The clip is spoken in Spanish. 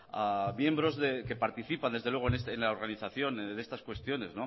a miembros que participan desde luego en la organización en estas cuestiones